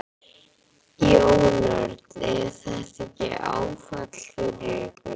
Jón Örn: Er þetta ekki áfall fyrir ykkur?